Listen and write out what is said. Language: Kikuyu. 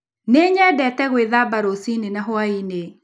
Nĩ nyendete gwĩthamba rũcinĩ na hwaĩ-inĩ.